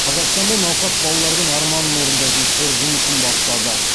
қазақстанда науқас балалардың арманын орындайтын қор жұмысын бастады